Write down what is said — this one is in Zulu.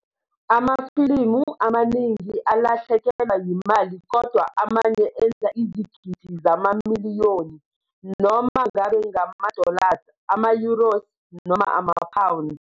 Amafilimu amaningi alahlekelwa yimali kodwa amanye enza izigidi zama miliyoni, noma ngabe ngama-dollars, ama-euros noma ama-pounds.